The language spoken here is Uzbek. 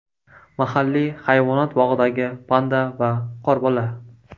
Mahalliy hayvonot bog‘idagi panda va qorbola.